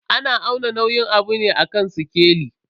Ana auna nauyin abu ne a kan sikeli.